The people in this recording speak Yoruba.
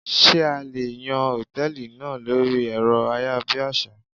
Ṣé a lè yàn Hòtẹ́lìì náà lórí èrọ ayárabíàṣá?